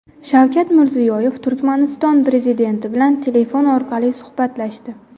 Shavkat Mirziyoyev Turkmaniston prezidenti bilan telefon orqali suhbatlashdi .